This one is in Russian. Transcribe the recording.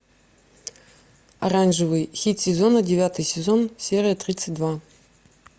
оранжевый хит сезона девятый сезон серия тридцать два